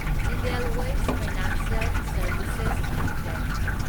Edelweiss financial services limited